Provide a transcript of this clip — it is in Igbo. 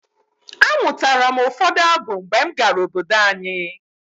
Amụtara m ụfọdụ abụ mgbe m gara obodo anyi.